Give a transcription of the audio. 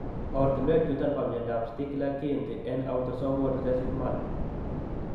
Ortinwek chuton bo myondap Stickler kiinti en autosomal recessive manner.